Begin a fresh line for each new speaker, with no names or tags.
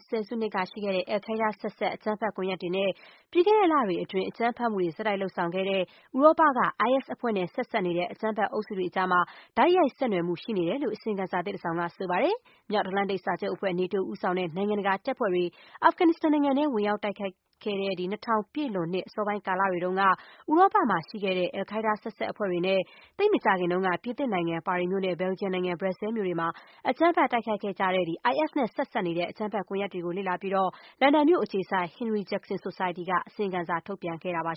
ဆယ်စုနှစ်ကရှိခဲ့တဲ့ အယ်လ်ခိုင်းဒါး ဆက်စပ် အကြမ်းဖက်ကွန်ရက်တွေနဲ့ ပြီးခဲ့တဲ့လတွေအတွင်း အကြမ်းဖက်မှုတွေ ဆက်တိုက် လုပ်ဆောင်ခဲ့တဲ့ ဥရောပက IS အဖွဲ့နဲ့ ဆက်စပ်နေတဲ့ အကြမ်းဖက်အုပ်စုတွေကြား တိုက်ရိုက်ဆက်နွှယ်မှု ရှိနေတယ်လို့ အစီရင်ခံစာသစ် တခုက ဆိုပါတယ်။ မြောက်အန္တလန်တိတ်စာချုပ်အဖွဲ့ NATO ဦးဆောင်တဲ့ နိုင်ငံတကာတပ်ဖွဲ့တွေ အာဖဂန်နစ္စတန်နိုင်ငံထဲ ဝင်ရောက် တိုက်ခိုက်ခဲ့တဲ့ ၂၀၀၀ ပြည့်လွန်နှစ် အစောပိုင်းကာလတွေတုန်းက ဥရောပမှာရှိခဲ့တဲ့ အယ်လ်ခိုင်းဒါး ဆက်စပ်အဖွဲ့တွေနဲ့ သိပ်မကြာခင်တုန်း က ပြင်သစ်နိုင်ငံ ပါရီမြို့နဲ့ ဘယ်လ်ဂျီယံနိုင်ငံ Brussels မြို့တွေမှာ အကြမ်းဖက် တိုက်ခိုက်ခဲ့ကြတဲ့ IS နဲ့ ဆက်စပ်နေတဲ့ အကြမ်းဖက် ကွန်ရက်တွေကို လေ့လာပြီးတော့ လန်ဒန်မြို့အခြေစိုက် Henry Jackson Society က အစီရင်ခံစာ ထုတ်ပြန်တာပါ